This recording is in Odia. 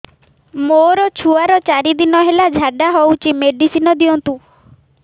ମୋର ଛୁଆର ଚାରି ଦିନ ହେଲା ଝାଡା ହଉଚି ମେଡିସିନ ଦିଅନ୍ତୁ